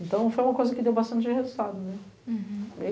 Então, foi uma coisa que deu bastante resultado, né? Uhum